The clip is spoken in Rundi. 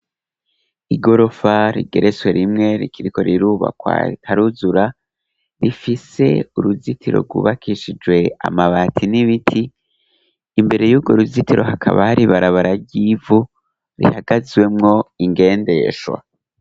Igorofa rigereswe rimwe rikiriko rirubakwa ritaruzura, rifise uruzitiro rwubakishije amabati n'ibiti imbere yurwo ruzitiro hakaba hari ibarabara ryibivu rihagazwemwo ingendeshwa.